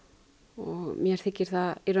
og mér þykir